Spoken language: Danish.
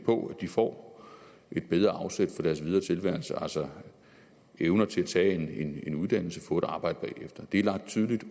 på at de får et bedre afsæt for deres videre tilværelse altså evner til at tage en uddannelse og få et arbejde bagefter det er lagt tydeligt